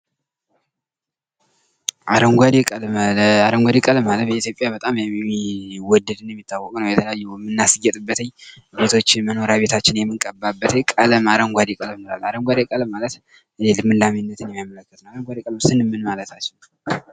አረንጓዴ ቀለም በኢትዮጵያ በጣም የሚወደድ እና የሚታወቅ ነው ።የተለያዩ የምናስጌጥበት ቤቶችና መመሪያ ቤታችን የምንቀባበት ቀለም አረንጓዴ ቀለም ይባላል። አረንጓዴ ቀለም ማለት ልምላሜን የሚገልጽ ነው። ልምላሜ ስንል ምን ማለት ነው?